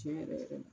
Tiɲɛ yɛrɛ yɛrɛ la